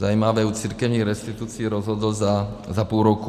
Zajímavé, u církevních restitucí rozhodl za půl roku.